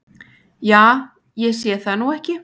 Ja, ég sé það nú ekki.